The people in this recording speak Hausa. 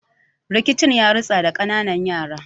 Rikicin yaritsa da kananan yara